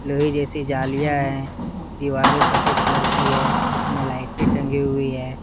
नहीं जैसी जालियां है दीवारें सफेद कलर की है उसमें लाइटें टंकी हुई है।